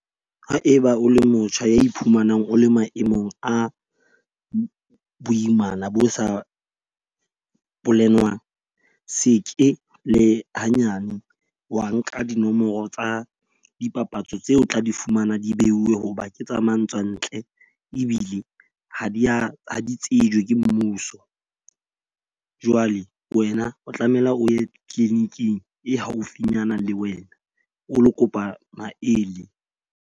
Haeba o le motjha a iphumanang o le maemong a boimana bo sa polenwang. Seke le hanyane wa nka dinomoro tsa dipapatso tseo tla di fumana di beuwe hoba ke tsa matswantle ebile ha di a ha di tsejwe ke mmuso. Jwale wena o tlamehile o ye clinic-ing e haufinyana le wena o lo kopa maele.